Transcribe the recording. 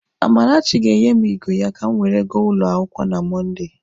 Amarachi ga-enye m igwe ya ka m were ya gaa ụlọ akwụkwọ na Mọnde.